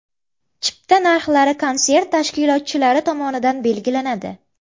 Chipta narxlari konsert tashkilotchilari tomonidan belgilanadi.